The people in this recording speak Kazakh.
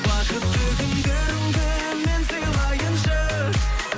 бақытты күндеріңді мен сыйлайыншы